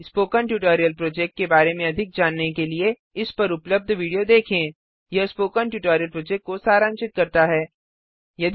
spoken tutorial project के बारे में अधिक जानने के लिए इस पर उपलब्ध वीडियो देखें httpspoken tutorialorgWhat is a Spoken Tutorial यह स्पोकन ट्यूटोरियल प्रोजेक्ट को सारांशित करता है